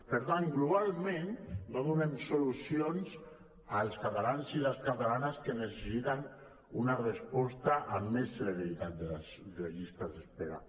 per tant globalment no donem solucions als catalans i les catalanes que necessiten una resposta amb més celeritat de les llistes d’espera